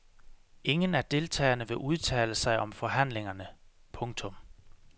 Ingen af deltagerne vil udtale sig om forhandlingerne. punktum